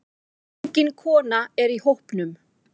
Engin kona er í hópnum.